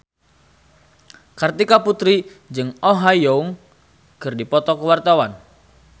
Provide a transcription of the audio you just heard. Kartika Putri jeung Oh Ha Young keur dipoto ku wartawan